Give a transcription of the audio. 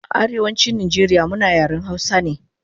A Arewachin Nijeria muna yaren hausa ne